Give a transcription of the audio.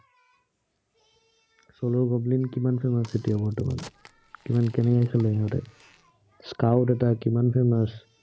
solo gambling কিমান famous এতিয়া বৰ্তমান কিমান কেনেকে খেলে সিহঁতে। squad এটা কিমান famous